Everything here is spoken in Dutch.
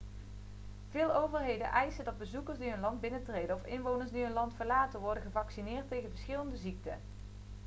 veel overheden eisen dat bezoekers die hun land binnentreden of inwoners die hun land verlaten worden gevaccineerd tegen verschillende ziekten